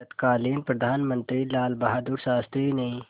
तत्कालीन प्रधानमंत्री लालबहादुर शास्त्री ने